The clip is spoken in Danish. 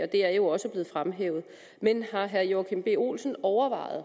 det er jo også blevet fremhævet men har herre joachim b olsen overvejet